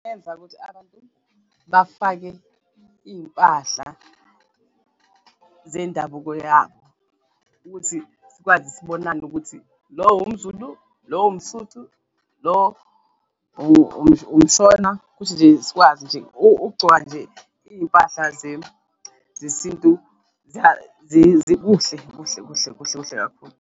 Eyenza ukuthi abantu bafake iy'mpahla zendabuko yabo ukuthi sikwazi sibonane ukuthi lo umZulu, lo umSotho, lo umShona kuthi nje sikwazi nje ukugcoka nje iy'mpahla zesintu kuhle kuhle, kuhle kuhle kakhulu.